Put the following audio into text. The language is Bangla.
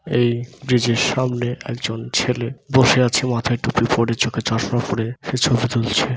এই ব্রিজ - এর সামনে একজন ছেলে বসে আছে |মাথায় টুপি পড়ে চোখে চশমা পড়ে |সে ছবি তুলছে |